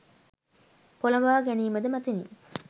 පොළොඹවා ගැනීම ද මතිනි.